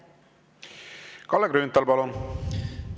Kalle Grünthal, palun!